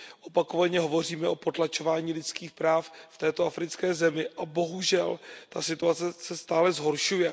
Opakovaně hovoříme o potlačování lidských práv v této africké zemi a bohužel ta situace se stále zhoršuje.